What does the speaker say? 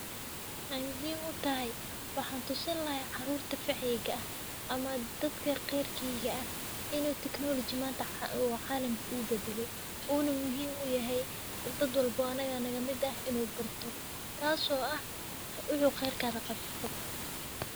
Wxay muhim u tahay wxan tusinlahay carurta faceyga ah ama dadka qerkeyga ah inu technology manta u calamk u badale una muhim u yahay u dad walbo anaga naga mid ah u barto tas o ah wxu qerkaga qabo qab.